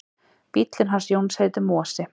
Bíllinn hans Jóns heitir Mosi.